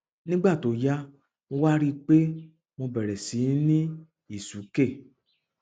nígbà tó yá mo wá rí i pé mo bẹrẹ síí ní ìsúkè